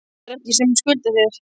Það er ég sem skulda þér!